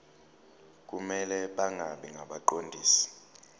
kumele bangabi ngabaqondisi